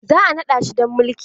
Za a naɗa shi dan maliki.